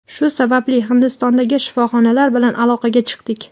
Shu sababli Hindistondagi shifoxonalar bilan aloqaga chiqdik.